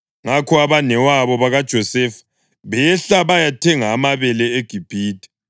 Ngakho abanewabo bakaJosefa behla bayathenga amabele eGibhithe.